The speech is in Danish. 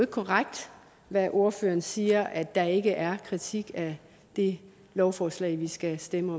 korrekt når ordføreren siger at der ikke er kritik af det lovforslag vi skal stemme